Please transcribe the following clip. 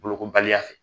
Bolokobaliya fɛ